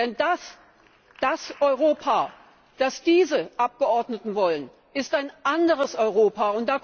Denn das Europa, das diese Abgeordneten wollen, ist ein anderes Europa.